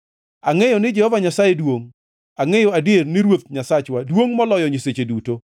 Angʼeyo ni Jehova Nyasaye duongʼ, angʼeyo adier ni Ruoth Nyasachwa duongʼ moloyo nyiseche duto.